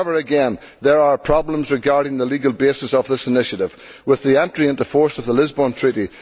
However, again, there are problems regarding the legal basis of this initiative with the entry into force of the Lisbon Treaty.